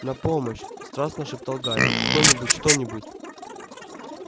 на помощь страстно шептал гарри кто-нибудь что-нибудь